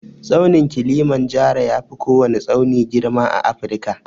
Tsaunin kilimanjaro yafi kowwani tsauni girma a Afirka.